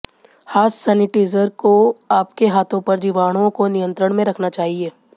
हाथ सेनेटिज़र को आपके हाथों पर जीवाणुओं को नियंत्रण में रखना चाहिए